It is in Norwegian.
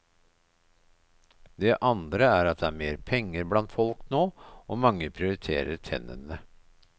Det andre er at det er mer penger blant folk nå, og mange prioriterer tennene.